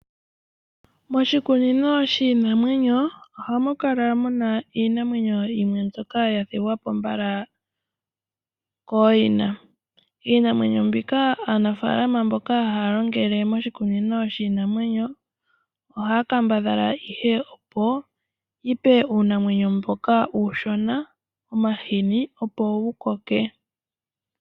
Moshikunino shiinamwenyo ohamu kala muna iinamwenyo yimwe mbyoka yathigwa po mbala kooyina. Iinamwenyo mbika aanafaalama mboka haya longele moshikunino shiinamwenyo, ohaya kambadhala ihe opo, yipe uunamwenyo mboka uushona omahini opo wu koke.